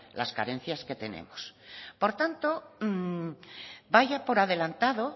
las carencias que tenemos por tanto vaya por adelantado